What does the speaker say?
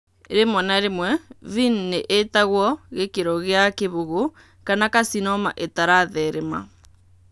Rĩmwe na rĩmwe VIN nĩ ĩtagwo gĩkĩro gĩa kĩbũgũ kana carcinoma ĩtaratheerema.